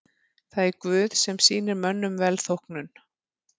Það er Guð sem sýnir mönnum velþóknun.